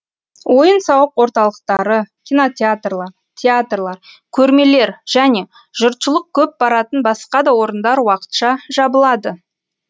ойын сауық орталықтары кинотеатрлар театрлар көрмелер және жұртшылық көп баратын басқа да орындар уақытша жабылады